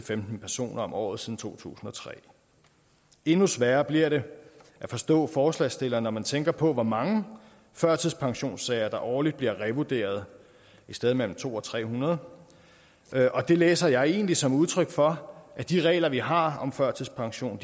femten personer om året siden to tusind og tre endnu sværere bliver det at forstå forslagsstillerne når man tænker på hvor mange førtidspensionssager der årligt bliver revurderet et sted mellem to hundrede og tre hundrede og det læser jeg egentlig som et udtryk for at de regler vi har om førtidspension